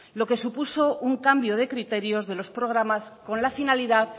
lo que supuso un cambio de criterios de los programas con la finalidad